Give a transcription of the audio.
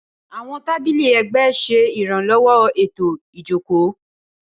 Awọn tábìlì ẹgbẹ ṣe iranlowo eto ijoko.